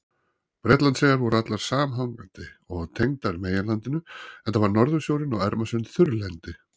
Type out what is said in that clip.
Bretlandseyjar voru allar samhangandi og tengdar meginlandinu enda var Norðursjórinn og Ermarsund þurrlendi.